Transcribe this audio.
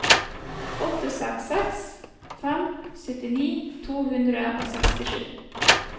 åtte seks seks fem syttini to hundre og sekstisju